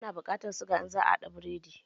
Ana buƙatar suga in za a haɗa burodi.